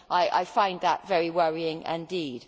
I find that very worrying indeed.